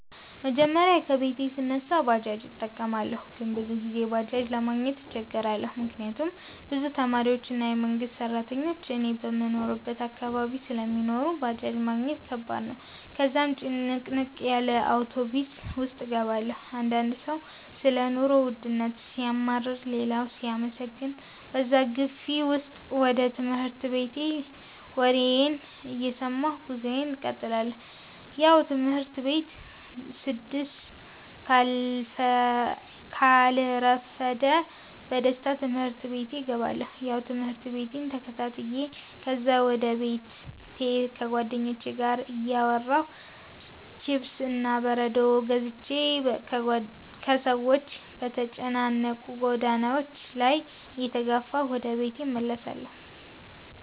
መጀመሪያ ከቤቴ ስነሳ ባጃጅ እጠቀማለሁ ግን ብዙ ጊዜ ባጄጅ ለማግኘት እቸገራለሁ፤ ምክንያት ብዙ ተማሪዎች እና የመንግሰት ስራተኞች እኔ በምኖርበት አካባቢ ስለሚኖሩ ባጃጅ ማግኘት ከባድ ነው፤ ከዛም ጭንቅንቅ ያለ አውቶብስ ውስጥ እገባለሁ። አንዳንድ ሰው ሰለ ኑሮ ወድነት ሲያማርር ሌላው ሲያመሰግን በዛ ግፊ ውስጥ ወደ ትምህርት ቤቴ ወሬየን እየሰማሁ ጉዞየን እቀጥላለሁ። ያው ትምህርት ቤቴ ስደስ ካልረፈደ በደስታ ትምህርት ቤቴ እገባለሁ። ያው ትምህርቴን ተከታትዮ ከዛም ወደ ቤቴ ከጉዋደኞቹቼ ጋር እያወራሁ፥ ችፕስ እና በረዶ ገዝቼ በሰዎች በተጨናነቁ ጎዳናዎች ላይ እየተጋፋሁ ወደ ቤቴ እመለሳለሁ